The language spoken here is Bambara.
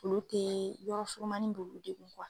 Olu tE yɔrɔ surumani b'olu de kun kan.